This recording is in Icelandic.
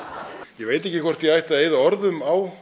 ég veit ekki hvort ég ætti að eyða orðum á